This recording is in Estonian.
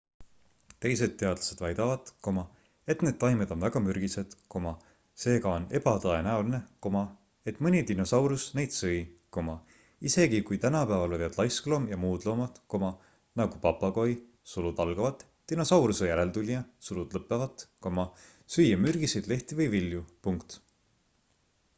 teised teadlased väidavad et need taimed on väga mürgised seega on ebatõenäoline et mõni dinosaurus neid sõi isegi kui tänapäeval võivad laiskloom ja muud loomad nagu papagoi dinosauruse järeltulija süüa mürgiseid lehti või vilju